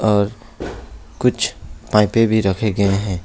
और कुछ पाइपे भी रखे गए हैं।